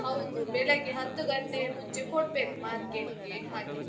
ಹೌದು, ಬೆಳಗ್ಗೆ ಹತ್ತು ಗಂಟೆಯ ಮುಂಚೆ ಕೊಡ್ಬೇಕು market ಗೆ, ಹಾಗೆ.